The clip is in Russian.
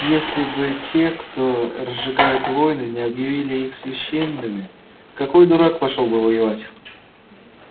если бы те кто разжигает войны не объявили их священными какой дурак пошёл бы воевать